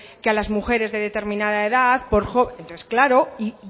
que a las mujeres de determinada edad entonces claro